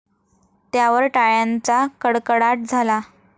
त्यावर टाळ्यांचा कडकडाट झाला.